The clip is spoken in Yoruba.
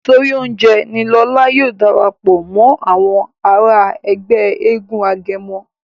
nítorí oúnjẹ ní Lọla yóò darapọ̀ mọ Àwọn àrà Ègbé éégun agẹmọ.